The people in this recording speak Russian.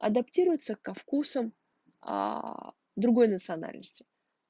адаптируется ко вкусам аа другой национальности